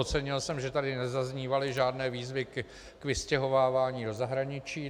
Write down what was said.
Ocenil jsem, že tady nezaznívaly žádné výzvy k vystěhovávání do zahraničí.